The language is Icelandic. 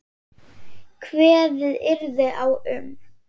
Kveðið yrði á um